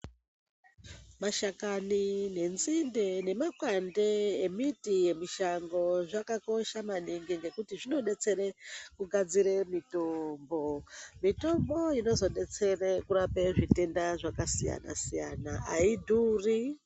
Mashakani nenzinde nemakwande emiti yemishango zvakakosha maningi ngekuti zvinodetsera kugadzire mitombo. Mitombo inozodetsere kurape zvitenda zvakasiyana siyana aidhuri.